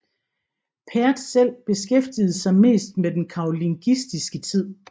Pertz selv beskæftigede sig mest med den karolingiske tid